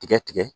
Tigɛ tigɛ